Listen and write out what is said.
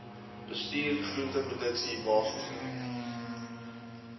bestuur groenteproduksie basiese